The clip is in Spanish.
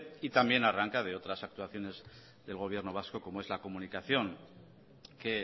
y también arranca de otras actuaciones del gobierno vasco como es la comunicación que